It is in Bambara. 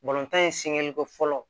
tan in sɛgɛnko fɔlɔ